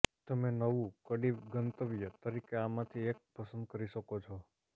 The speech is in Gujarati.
તમે નવું કડી ગંતવ્ય તરીકે આમાંથી એક પસંદ કરી શકો છો